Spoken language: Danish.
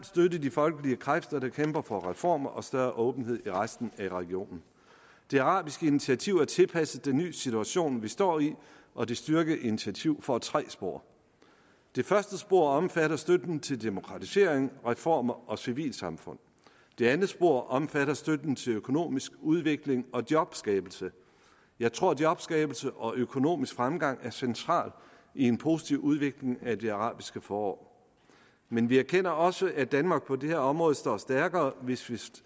støtte de folkelige kræfter der kæmper for reformer og større åbenhed i resten af regionen det arabiske initiativ er tilpasset den nye situation vi står i og det styrkede initiativ får tre spor det første spor omfatter støtten til demokratisering reformer og civilsamfund det andet spor omfatter støtten til økonomisk udvikling og jobskabelse jeg tror jobskabelse og økonomisk fremgang er noget centralt i en positiv udvikling af det arabiske forår men vi erkender også at danmark på det her område står stærkere hvis vi